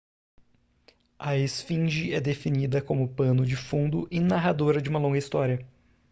a esfinge é definida como pano de fundo e narradora de uma longa história